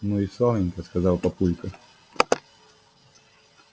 ну и славненько сказал папулька